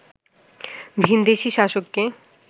ভিনদেশি শাসককে